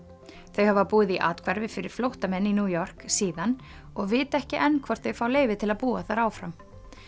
þau hafa búið í athvarfi fyrir flóttamenn í New York síðan og vita ekki enn hvort þau fá leyfi til að búa þar áfram